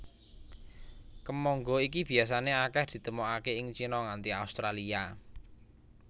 Kemangga iki biasané akèh ditemokaké ing Cina nganti Australia